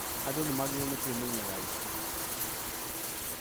andũ magĩrĩirwo nĩ kwĩmenyerera aici